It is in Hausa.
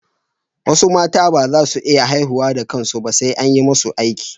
Wasu mata ba za su iya haihuwa da kansu ba, sai an yi musu aiki